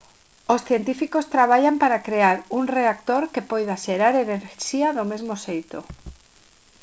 os científicos traballan para crear un reactor que poida xerar enerxía do mesmo xeito